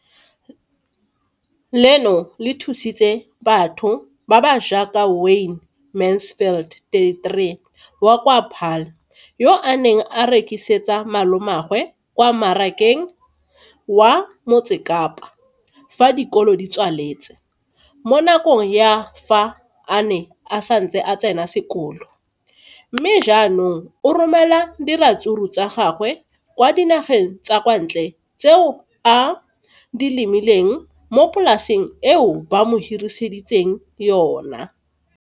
Leno le thusitse batho ba ba jaaka Wayne Mansfield, 33, wa kwa Paarl, yo a neng a rekisetsa malomagwe kwa Marakeng wa Motsekapa fa dikolo di tswaletse, mo nakong ya fa a ne a santse a tsena sekolo, mme ga jaanong o romela diratsuru tsa gagwe kwa dinageng tsa kwa ntle tseo a di lemileng mo polaseng eo ba mo hiriseditseng yona.